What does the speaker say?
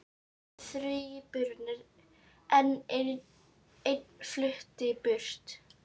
Voru þríburar en ein flutti burt